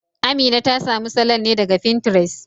Amina ta samu salon ne daga Fintires